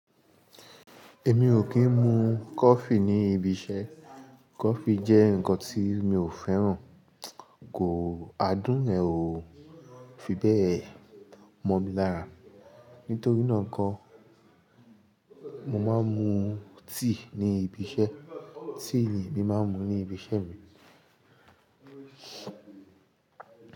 Èmi ò kí ń mu coffee ní ibi iṣẹ́. Coffee jẹ́ nǹkan tí mi ò fẹ́ràn. Kò áadùn yẹ n ò fi bẹ́ẹ̀ mọ̀ mi lára. Nítorí náà nkọ́, mo máa ń mu tea ní ibi iṣẹ́. Tea ni èmi máa ń mu ní ibi iṣẹ́ mi.